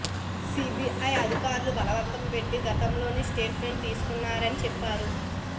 CBI అధికారులు బలవంతపెట్టి గతంలో స్టేట్ మెంట్ తీసుకున్నారని చెప్పారు